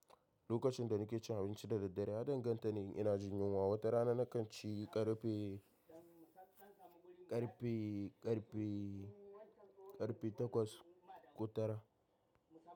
Lokacin da nake cin abinci da daddare, ya danganta ne in ina jin yinwa. Wata rana na kan ci ƙarfe, ƙarfe, ƙarfe, ƙarfe takwas ko tara.